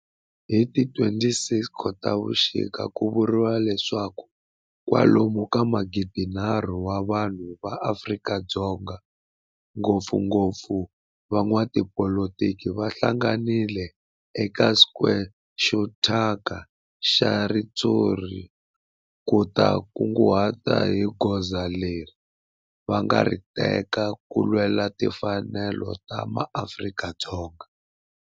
Hi ti 26 Khotavuxika ku vuriwa leswaku kwalomu ka magidi-nharhu wa vanhu va Afrika-Dzonga, ngopfungopfu van'watipolitiki va hlanganile eka square xo thyaka xa ritshuri ku ta kunguhata hi goza leri va nga ta ri teka ku lwela timfanelo ta maAfrika-Dzonga.